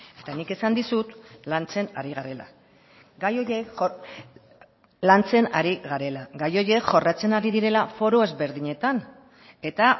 eta nik esan dizut lantzen ari garela gai horiek lantzen ari garela gai horiek jorratzen ari direla foru ezberdinetan eta